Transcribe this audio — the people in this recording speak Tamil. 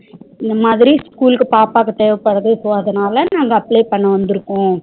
இந்தமாதிரி school க்கு பாப்பாக்கு தேவபடுது so அதனால நாங்க apply பண்ண வந்துருகோம்